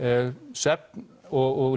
svefn og